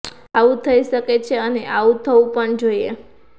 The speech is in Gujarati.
આવું થઈ શકે છે અને આવું થવું પણ જોઈએ